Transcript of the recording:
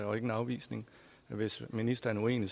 og ikke en afvisning hvis ministeren er uenig